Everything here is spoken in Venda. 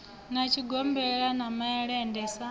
na tshigombela na malende sa